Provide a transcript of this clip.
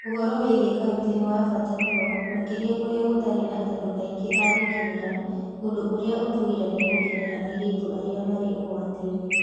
Ũhoro wĩgiĩ kaunti nĩ wa bata mũno, makĩria kũrĩa gũtarĩ na andũ aingĩ a gũkinyĩra, ũndũ ũrĩa ũtũgiragia gũkinyĩra airĩtu arĩa marĩ ũgwati-inĩ.